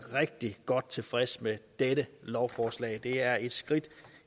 rigtig godt tilfreds med dette lovforslag for det er et skridt